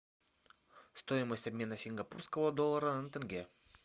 стоимость обмена сингапурского доллара на тенге